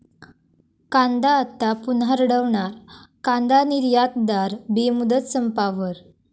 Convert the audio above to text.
कांदा आता पुन्हा रडवणार, कांदा निर्यातदार बेमुदत संपावर